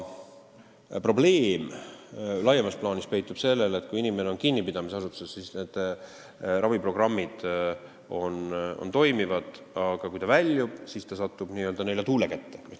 Probleem laiemas plaanis peitub selles, et kui inimene on kinnipidamisasutuses, siis need raviprogrammid toimivad, aga kui ta sealt lahkub, siis ta satub nelja tuule kätte.